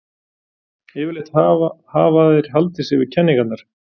Yfirleitt hafa þeir haldið sig við kenningarnar.